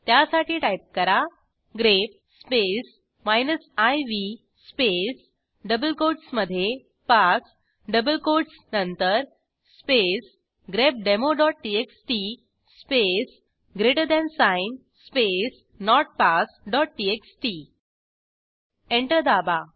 त्यासाठी टाईप करा grep space minus v space double कोटसमधे पास डबल कोटस नंतर स्पेस grepdemoटीएक्सटी space greater than sign space notpassटीएक्सटी एंटर दाबा